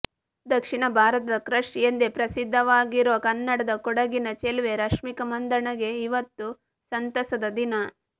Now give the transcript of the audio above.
ದಕ್ಷಿಣ ಭಾರತದ ಕ್ರಶ್ ಎಂದೇ ಪ್ರಸಿದ್ದವಾಗಿರುವ ಕನ್ನಡದ ಕೊಡಗಿನ ಚೆಲುವೆ ರಶ್ಮಿಕಾ ಮಂದಣ್ಣಗೆ ಇವತ್ತು ಸಂತಸದ ದಿನ